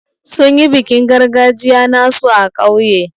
Sun yi bikin gargajiya nasu a kauye.